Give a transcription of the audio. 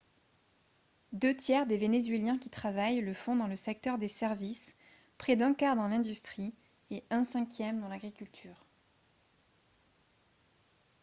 deux tiers des vénézuéliens qui travaillent le font dans le secteur des services près d'un quart dans l'industrie et un cinquième dans l'agriculture